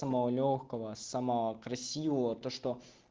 самого лёгкого самого красивого то что